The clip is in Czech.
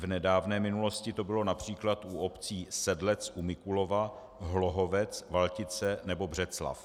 V nedávné minulosti to bylo například u obcí Sedlec u Mikulova, Hlohovec, Valtice nebo Břeclav.